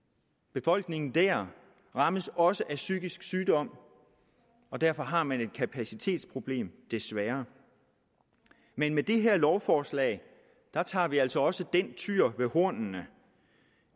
befolkningen dér rammes også af psykisk sygdom og derfor har man et kapacitetsproblem desværre men med det her lovforslag tager vi altså også den tyr ved hornene